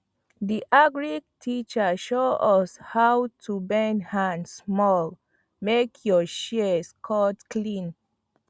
di agric teacher show us how to bend hand small make your shears cut clean